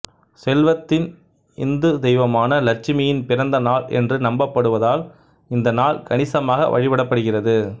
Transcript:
செல்வத்தின் இந்து தெய்வமான லட்சுமியின் பிறந்த நாள் என்று நம்பப்படுவதால் இந்த நாள் கணிசமாக வழிபடப்படுகிறது